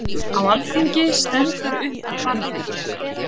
Á alþingi stendur upp Barði